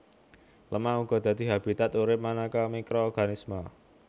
Lemah uga dadi habitat urip manéka mikroorganisme